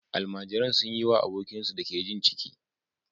Almajiran sun yi wa abokinsu da ke jin ciki